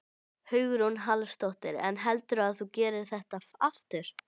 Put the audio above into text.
Hugrún Halldórsdóttir: En heldurðu að þú gerir þetta aftur?